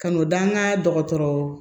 Ka n'o da an ka dɔgɔtɔrɔ